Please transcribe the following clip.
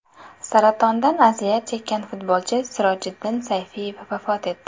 Saratondan aziyat chekkan futbolchi Sirojiddin Sayfiyev vafot etdi.